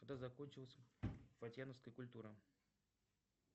когда закончилась фатьяновская культура